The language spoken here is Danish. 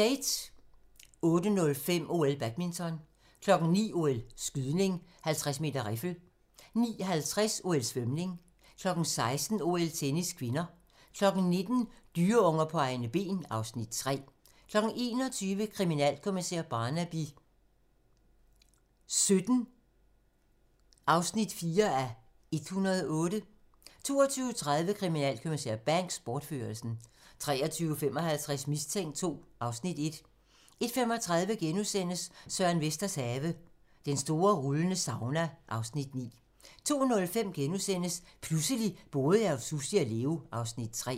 08:05: OL: Badminton 09:00: OL: Skydning 50m riffel 09:50: OL: Svømning 16:00: OL: Tennis (k) 19:00: Dyreunger på egne ben (Afs. 3) 21:00: Kriminalkommissær Barnaby XVII (4:108) 22:30: Kriminalinspektør Banks: Bortførelsen 23:55: Mistænkt II (Afs. 1) 01:35: Søren Vesters have - Den store rullende sauna (Afs. 9)* 02:05: Pludselig boede jeg hos Sussi og Leo (Afs. 3)*